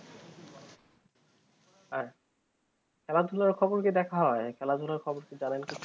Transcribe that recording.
আর খেলা ধুলা খবর কি দেখা হয় খেলাধুলার খবর কি জানেন কিছু